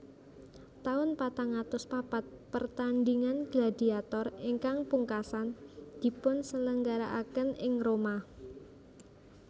Taun patang atus papat Pertandhingan gladiator ingkang pungkasan dipunselenggarakan ing Roma